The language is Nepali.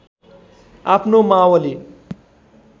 आफ्नो मावली